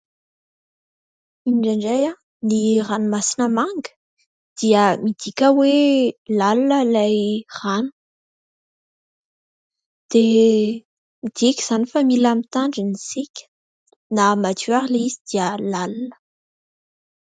Indraindray ny ranomasina manga, dia midika hoe lalina ilay rano. Dia midika izany fa mila mitandrina isika. Na madio aza ilay izy dia lalina.